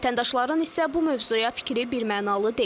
Vətəndaşların isə bu mövzuya fikri birmənalı deyil.